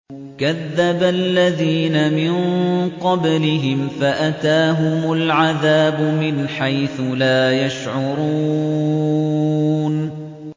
كَذَّبَ الَّذِينَ مِن قَبْلِهِمْ فَأَتَاهُمُ الْعَذَابُ مِنْ حَيْثُ لَا يَشْعُرُونَ